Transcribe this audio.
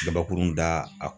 Gabakurun da a